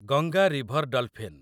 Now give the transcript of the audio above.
Ganga river dolphin